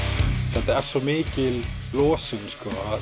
þetta er svo mikil losun að